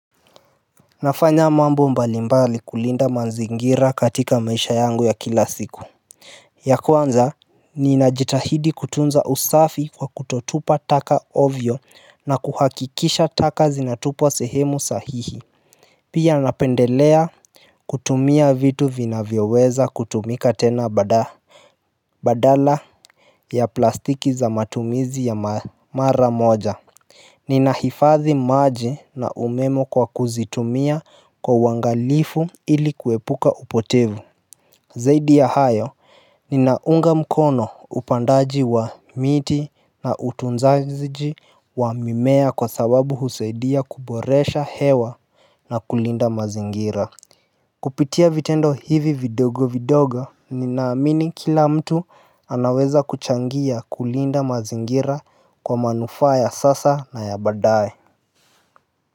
Nafanya mambo mbalimbali kulinda manzingira katika maisha yangu ya kila siku. Ya kwanza ninajitahidi kutunza usafi kwa kutotupa taka ovyo na kuhakikisha taka zinatupwa sehemu sahihi. Pia napendelea kutumia vitu vinavyoweza kutumika tena badala ya plastiki za matumizi ya mara moja. Nina hifadhi maji na umemo kwa kuzitumia kwa uwangalifu ili kuepuka upotevu. Zaidi ya hayo, ninaunga mkono upandaji wa miti na utunzaji wa mimea kwa sababu husaidia kuboresha hewa na kulinda mazingira. Kupitia vitendo hivi vidogo vidogo, ninaamini kila mtu anaweza kuchangia kulinda mazingira kwa manufaa ya sasa na ya badaye.